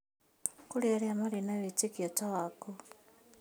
Kũrĩ arĩa marĩ na wĩtĩkio ta waku